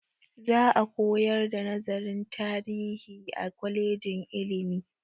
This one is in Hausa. Za a koyar da nazarin tarihi a kwalejin ilimi.